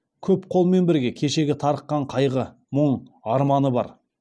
көп қолмен бірге кешегі тарыққан қайғы мұң арманы бар